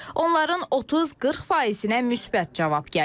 Onların 30-40%-nə müsbət cavab gəlib.